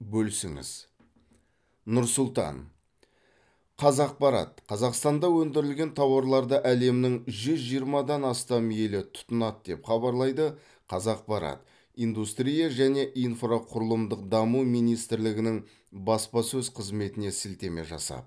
бөлісіңіз нұр сұлтан қазақпарат қазақстанда өндірілген тауарларды әлемнің жүз жиырмадан астам елі тұтынады деп хабарлайды қазақпарат индустрия және инфрақұрылымдық даму министрлігінің баспасөз қызметіне сілтеме жасап